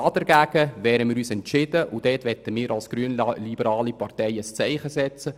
Dagegen wehren wir uns als grünliberale Partei entschieden, und wir möchten ein Zeichen setzen.